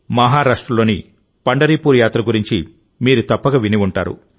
మహారాష్ట్రలోని పండరిపూర్ యాత్ర గురించి మీరు తప్పక విని ఉంటారు